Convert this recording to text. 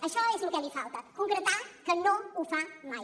això és el que li falta concretar que no ho fa mai